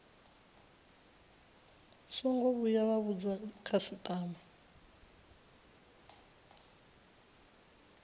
songo vhuya vha vhudza khasitama